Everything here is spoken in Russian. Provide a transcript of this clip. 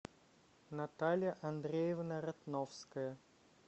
наталья андреевна ратновская